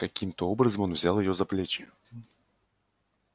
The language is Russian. каким-то образом он взял её за плечи